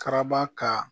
Karaba ka